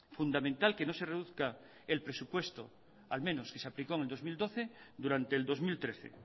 fundamental que no se reduzca el presupuesto al menos que se aplicó en el dos mil doce durante el dos mil trece